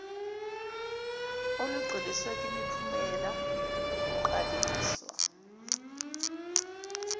olugxiliswe kwimiphumela ukuqaliswa